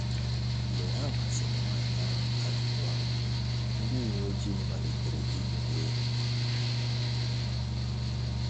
Mgbe ha gbasịrị nwanyị ahụ ajụjụ ọnụ, ndị uwe ojii malitere inyo ya enyo.